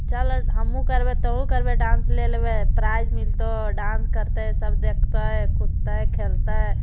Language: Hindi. चल हमहू करबै तुहु करबे डांस ले लेबै प्राइज मिलतो डांस करते सब देखतै कूदतै खेलतै।